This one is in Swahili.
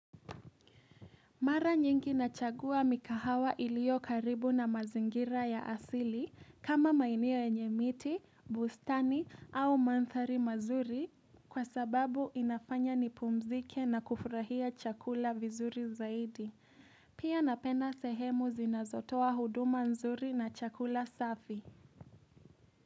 Mara nyingi nachagua mikahawa ilio karibu na mazingira ya asili kama maeneo enye miti, bustani au mandhari mazuri kwa sababu inafanya nipumzike na kufurahia chakula vizuri zaidi. Pia napenda sehemu zinazotoa huduma nzuri na chakula safi.